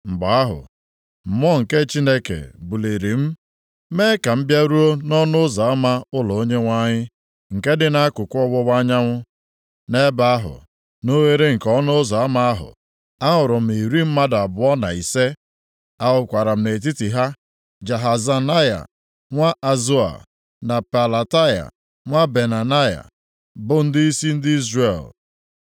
Mgbe ahụ, Mmụọ nke Chineke buliri m mee ka m bịaruo nʼọnụ ụzọ ama ụlọ Onyenwe anyị, nke dị nʼakụkụ ọwụwa anyanwụ. Nʼebe ahụ, nʼoghere nke ọnụ ụzọ ama ahụ, ahụrụ m iri mmadụ abụọ na ise. Ahụkwara m nʼetiti ha, Jaazanaya nwa Azoa na Pelataya nwa Benaya, bụ ndịisi ndị Izrel.